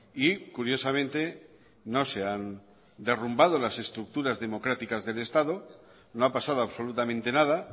y curiosamente no se han derrumbado las estructuras democráticas del estado no ha pasado absolutamente nada